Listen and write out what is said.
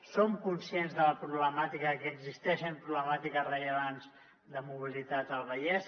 som conscients de la problemàtica que existeixen problemàtiques rellevants de mobilitat al vallès